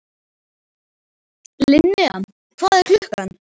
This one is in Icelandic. Linnea, hvað er klukkan?